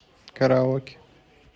караоке